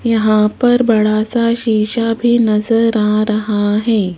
यहां पर बड़ा सा शीशा भी नजर आ रहा है।